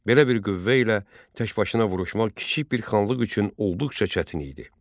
Belə bir qüvvə ilə təkbaşına vuruşmaq kiçik bir xanlıq üçün olduqca çətin idi.